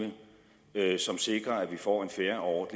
et takstregime som sikrer at vi får en fair og